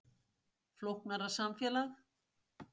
Flóknara samfélag